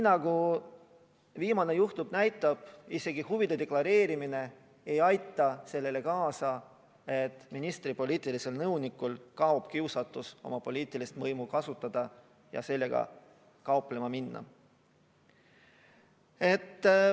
Nagu viimane juhtum näitab, isegi huvide deklareerimine ei aita sellele kaasa, et ministri poliitilisel nõunikul kaob kiusatus oma poliitilist võimu kasutada ja sellega kauplema minna.